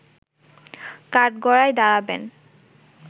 কাঠগড়ায় দাঁড়াবেন